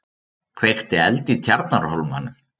Kveikti eld í Tjarnarhólmanum